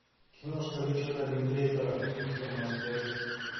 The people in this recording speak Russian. киношка ричарда линклейтера мистер мерседес